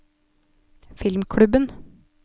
filmklubben